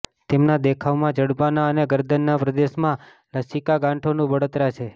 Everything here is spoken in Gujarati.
તેમના દેખાવમાં જડબાના અને ગરદનના પ્રદેશમાં લસિકા ગાંઠોનું બળતરા છે